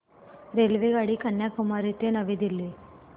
रेल्वेगाडी कन्याकुमारी ते नवी दिल्ली